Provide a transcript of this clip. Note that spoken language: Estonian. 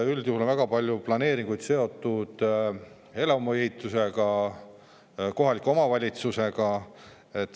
Üldjuhul on väga paljud planeeringud seotud elamuehitusega, kohaliku omavalitsusega.